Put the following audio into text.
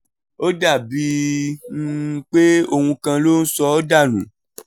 ó dà bíi um pé ohun kan ló ń sọ ọ́ dà nù